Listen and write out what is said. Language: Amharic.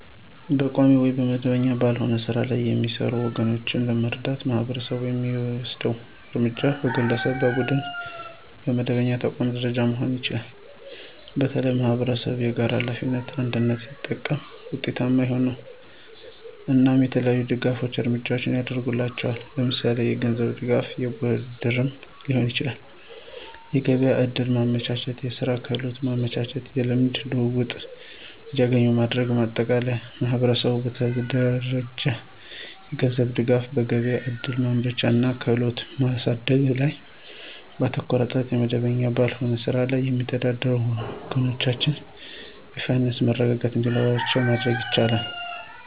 በቋሚ ወይም መደበኛ ባልሆነ ሥራ ላይ የሚሰሩ ወገኖቻችንን ለመርዳት ማህበረሰቡ የሚወስደው እርምጃ በግለሰብ፣ በቡድንና በመደበኛ ተቋማት ደረጃ መሆን ይችላል። በተለይም ማኅበረሰብ የጋራ ሀላፊነትን (አንድነት) ሲጠቀም ውጤታማ ነው። እናም የተለያዩ የድጋፍ እርምጃዎችን ያድርግላቸዋል ለምሳሌ የገንዝብ ድጋፍ የብድርም ሊሆን ይችላል። የገቢያ ዕድል ማመቻቸት፣ የስራ ክህሎት ማመቻቸት። የልምድ ልውውጥ እንዲገኙ ማድረግ። ማጠቃለያ ማህበረሰቡ በተደራጀ የገንዘብ ድጋፍ፣ በገበያ እድል ማመቻቸት እና በክህሎት ማሳደግ ላይ ባተኮረ ጥረት የመደበኛ ባልሆነ ስራ ላይ የሚተዳደሩ ወገኖቻችን የፋይናንስ መረጋጋት እንዲኖራቸው ማድረግ ይቻላል።